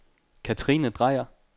Katrine Dreyer